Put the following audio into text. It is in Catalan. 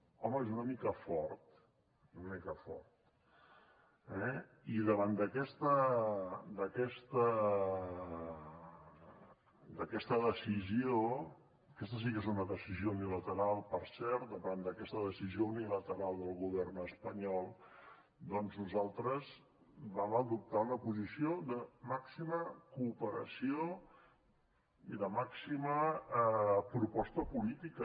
home és una mica fort és una mica fort eh i davant d’aquesta decisió aquesta sí que és una decisió unilateral per cert davant d’aquesta decisió unilateral del govern espanyol doncs nosaltres vam adoptar una posició de màxima cooperació i de màxima proposta política